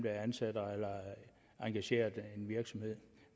er ansat eller engageret af en virksomhed